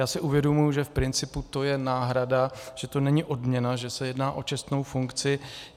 Já si uvědomuji, že v principu to je náhrada, že to není odměna, že se jedná o čestnou funkci.